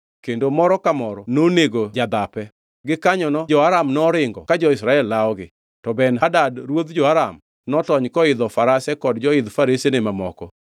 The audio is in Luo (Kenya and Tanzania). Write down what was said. kendo moro ma moro nonego jadhape. Gikanyono jo-Aram noringo ka jo-Israel lawogi. To Ben-Hadad ruodh jo-Aram notony koidho farase kod joidh faresene mamoko.